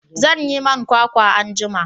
zan yi man kwakwa anjima